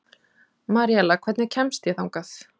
Maríella, hvernig kemst ég þangað?